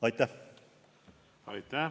Aitäh!